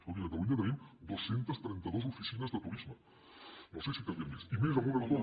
escolti a catalunya tenim dos cents i trenta dos oficines de turisme no sé si en calien més i més en un entorn